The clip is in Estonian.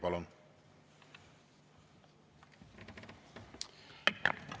Palun!